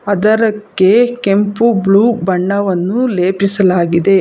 ಅದರಕ್ಕೆ ಕೆಂಪು ಬ್ಲೂ ಬಣ್ಣವನ್ನು ಲೇಪಿಸಲಾಗಿದೆ.